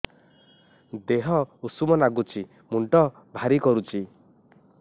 ଦିହ ଉଷୁମ ନାଗୁଚି ମୁଣ୍ଡ ଭାରି କରୁଚି